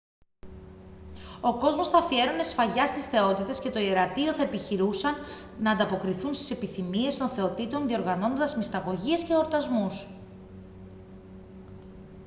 ο κόσμος θα αφιέρωνε σφαγιά στις θεότητες και το ιερατείο θα επιχειρούσαν να ανταποκριθούν στις επιθυμίες των θεοτήτων διοργανώνοντας μυσταγωγίες και εορτασμούς